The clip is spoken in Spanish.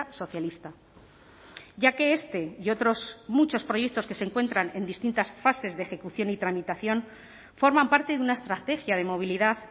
socialista ya que este y otros muchos proyectos que se encuentran en distintas fases de ejecución y tramitación forman parte de una estrategia de movilidad